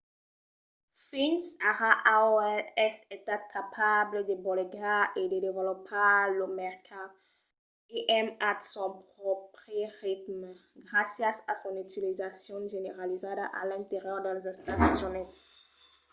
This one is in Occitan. fins ara aol es estat capable de bolegar e de desvolopar lo mercat im at son pròpri ritme gràcias a son utilizacion generalizada a l’interior dels estats units